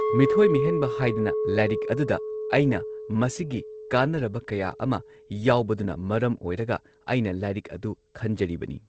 ꯃꯤꯊꯣꯏ ꯃꯤꯍꯦꯟꯕ ꯍꯥꯏꯗꯅ ꯂꯥꯏꯔꯤꯛ ꯑꯗꯨꯗ ꯑꯩꯅ ꯃꯁꯤꯒꯤ ꯀꯥꯟꯅꯔꯕ ꯀꯌꯥ ꯑꯃ ꯌꯥꯎꯕꯗꯨꯅ ꯃꯔꯝ ꯑꯣꯏꯔꯒ ꯑꯩꯅ ꯂꯥꯏꯔꯤꯛ ꯑꯗꯨ ꯈꯟꯖꯔꯤꯕꯅꯤ